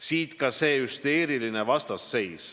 Siit ka see hüsteeriline vastasseis.